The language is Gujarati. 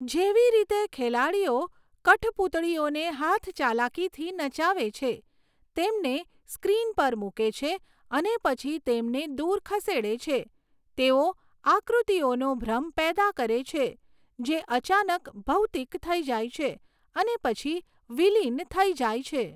જેવી રીતે ખેલાડીઓ કઠપૂતળીઓને હાથચાલાકીથી નચાવે છે, તેમને સ્ક્રીન પર મૂકે છે અને પછી તેમને દૂર ખસેડે છે, તેઓ આકૃતિઓનો ભ્રમ પેદા કરે છે, જે અચાનક ભૌતિક થઈ જાય છે અને પછી વિલીન થઈ જાય છે.